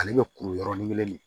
Ale bɛ kuru yɔrɔnin kelen nin